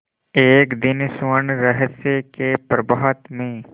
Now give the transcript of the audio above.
एक दिन स्वर्णरहस्य के प्रभात में